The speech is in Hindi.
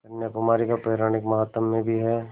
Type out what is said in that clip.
कन्याकुमारी का पौराणिक माहात्म्य भी है